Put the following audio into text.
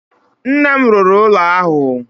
Nna m rụrụ ụlọ ahụ.